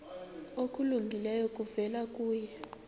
okulungileyo kuvela kuye